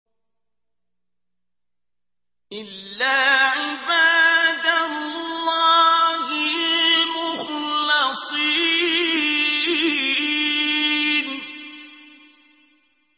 إِلَّا عِبَادَ اللَّهِ الْمُخْلَصِينَ